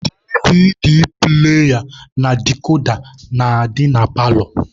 DVD pụlaya na dikoda na-adị na paalọ.